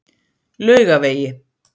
Laugavegi